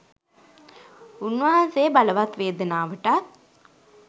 උන්වහන්සේ බලවත් වේදනාවටත්